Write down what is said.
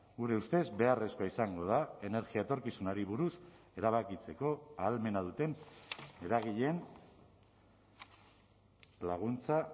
gure ustez beharrezkoa izango da energia etorkizunari buruz erabakitzeko ahalmena duten eragileen laguntza